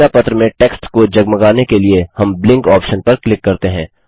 सूचना पत्र में टेक्स्ट को जगमगाने के लिए हम ब्लिंक ऑप्शन पर क्लिक करते हैं